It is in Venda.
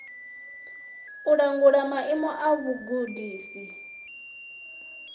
u langula maimo a vhugudisi